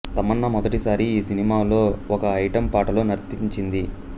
తమన్నా మొదటి సారి ఈ సినిమాలో ఒక ఐటెం పాటలో నర్తించింది